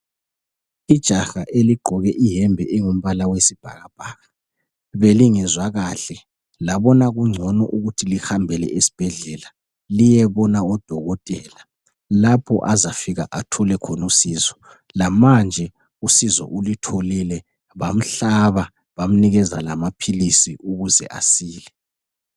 Ijaha eligqoke ihembe engumbala wesibhakabhaka. Belingezwa kahle, labona kungcono ukuthi lihambele esibhedlela liyebona odokotela lapho azafika athole khonusizo. Lamanje usizo ulutholile bamhlaba bamnikeza lamaphilisi ukuze asile.